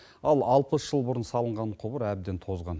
ал алпыс жыл бұрын салынған құбыр әбден тозған